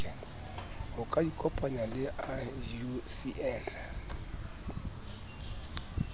ho ka ikopangwa le iucn